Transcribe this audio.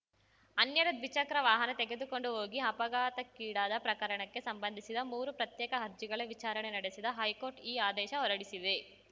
ಅನ್ಯರ ದ್ವಿಚಕ್ರ ವಾಹನ ತೆಗೆದುಕೊಂಡು ಹೋಗಿ ಅಪಘಾತಕ್ಕೀಡಾದ ಪ್ರಕರಣಕ್ಕೆ ಸಂಬಂಧಿಸಿದ ಮೂರು ಪ್ರತ್ಯೇಕ ಅರ್ಜಿಗಳ ವಿಚಾರಣೆ ನಡೆಸಿದ ಹೈಕೋರ್ಟ್‌ ಈ ಆದೇಶ ಹೊರಡಿಸಿದೆ